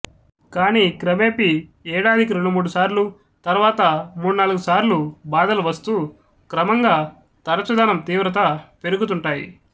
కానీ క్రమేపీ ఏడాదికి రెండుమూడు సార్లు తర్వాత మూడ్నాలుగు సార్లు బాధలు వస్తూ క్రమంగా తరచుదనం తీవ్రతా పెరుగుతుంటాయి